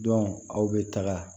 aw bɛ taga